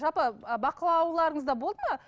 жалпы ы бақылауларыңызда болды ма